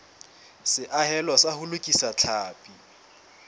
seahelo sa ho lokisa tlhapi